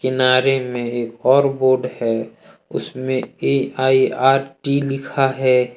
में है और बोर्ड है उसमें ए_आई_आर_टी लिखा है।